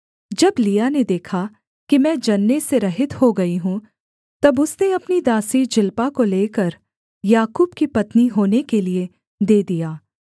जब लिआ ने देखा कि मैं जनने से रहित हो गई हूँ तब उसने अपनी दासी जिल्पा को लेकर याकूब की पत्नी होने के लिये दे दिया